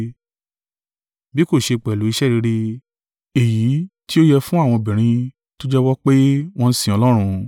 bí kò ṣe pẹ̀lú iṣẹ́ rere, èyí tí ó yẹ fún àwọn obìnrin tó jẹ́wọ́ pé wọ́n sin Ọlọ́run.